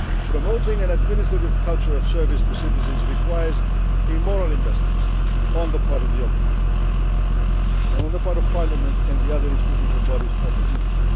Promoting an administrative culture of service to citizens requires a moral investment on the part of the Ombudsman and on the part of Parliament and the other institutions and bodies of the